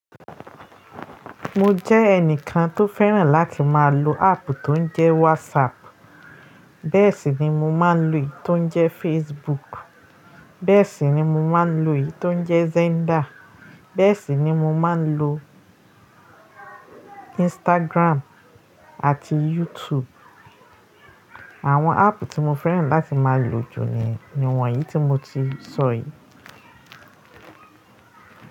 Mo jẹ́ ẹnìkan tó fẹ́ràn láti máa lo ápp tó ń jẹ́ WhatsApp. Bẹ́ẹ̀ sì ni mo máa ń lò ì tó ń jẹ́ Facebook. Bẹ́ẹ̀ sì ni mo máa ń lò ì tó ń jẹ́ Zenda. Bẹ́ẹ̀ sì ni mo máa ń lò Instagram àti YouTube. Àwọn áàpù tí mo fẹ́ràn láti máa lò jù ni, ni wọ̀nyí tí mo ti sọ yìí.